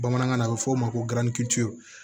Bamanankan na a bɛ f'o ma ko